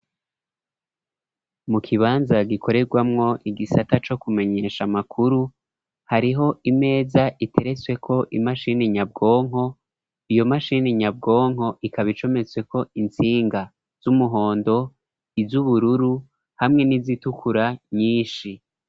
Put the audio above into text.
Mu kibanza gikoreramwo igisata co kumenyesha amakuru, hariho imeza iteretsweko imashini nyabwonko, iyo mashini nyabwonko ikaba icometsweko intsinga z'umuhondo, iz'ubururu hamwe n'izitukura nyinshi.